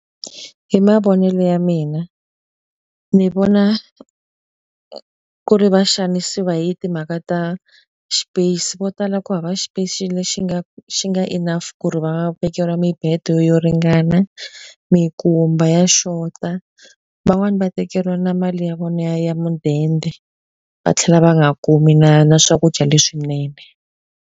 Hi mavonelo ya mina ni vona ku ri va xanisiwa hi timhaka ta space. Vo tala ku hava space lexi nga xi nga enough ku ri va vekeriwa mibedo yo ringana, minkumba ya xota. Van'wani va tekeriwa na mali ya vona ya ya mudende, va tlhela va nga kumi na na swakudya leswinene.